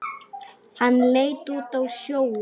Hann leit út á sjóinn.